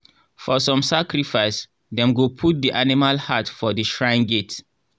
for some sacrifice dem go put the animal heart for the shrine gate.